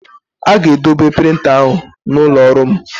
A ga-edobe printa ahụ n'ụlọ ọrụ m?